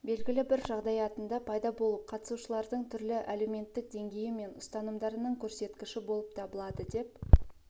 белгілі бір жағдаятында пайда болып қатысушылардың түрлі әлеуметтік деңгейі мен ұстанымдарының көрсеткіші болып табылады деп